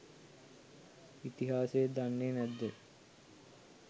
ඉතිහාසය දන්නේ නැද්ද.?